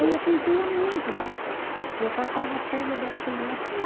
Aí a gente ia muito lá, que eu passava as férias das criança lá.